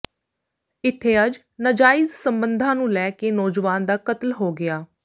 ਇੱਥੇ ਅੱਜ ਨਾਜਾਇਜ਼ ਸਬੰਧਾਂ ਨੂੰ ਲੈ ਕੇ ਨੌਜਵਾਨ ਦਾ ਕਤਲ ਹੋ ਗਿਆ